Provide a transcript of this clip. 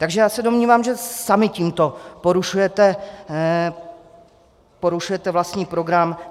Takže já se domnívám, že sami tímto porušujete vlastní program.